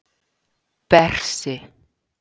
Bersi